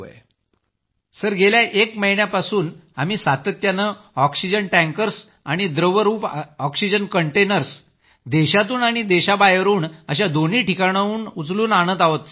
group captain sir गेल्या एक महिन्यापासून आम्ही सातत्यानं ऑक्सिजन टँकर्स आणि द्रवरूप ऑक्सिजन कंटेनर्स देशातून आणि देशाबाहेरून अशा दोन्ही ठिकाणांहून उचलून आणत आहोत